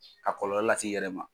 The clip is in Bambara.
A kɔlɔlɔ las'i yɛrɛ ma.